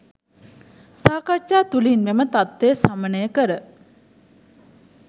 සාකච්ඡා තුළින් මෙම තත්ත්වය සමනය කර